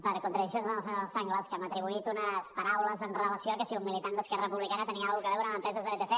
per contradiccions del senyor sanglas que m’ha atribuït unes paraules amb relació que si un militant d’esquerra republicana tenia alguna cosa a veure amb empreses de vtc